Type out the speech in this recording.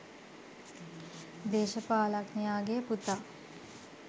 දේශපාලනඥයාගේ පුතා